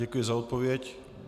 Děkuji za odpověď.